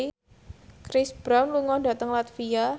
Chris Brown lunga dhateng latvia